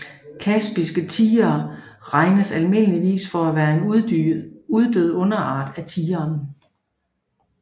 Kaspiske tigre regnes almindeligvis for at være en uddød underart af tigeren